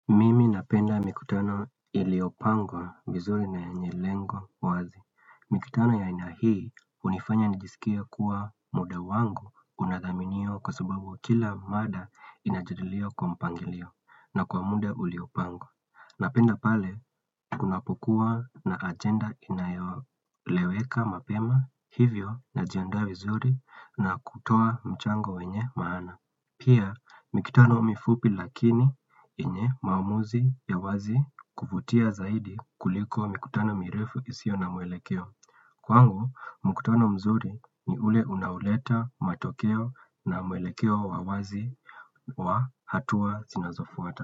Napenda mikutano iliyopangwa vizuri na yenye lengo wazi. Mikutano ya aina hii hunifanya nijisikie kuwa muda wangu unadhaminiwa kwa sababu kila mada inatililiwa kwa mpangilio na kwa muda uliopangwa. Napenda pale kunapokuwa na agenda inayoeleweka mapema hivyo najiandaa vizuri na kutoa mchango wenye maana. Pia mikutano mifupi lakini yenye maamuzi ya wazi kuvutia zaidi kuliko mikutano mirefu isiyo na mwelekeo Kwangu mkutano mzuri ni ule unaoleta matokeo na mwelekeo wa wazi wa hatua zinazofuata.